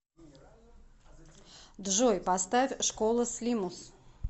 джой поставь школа слимус